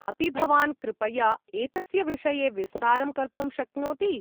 अपि भवान् कृपया एतस्य विषये विस्तारं कर्तुं शक्नोति ?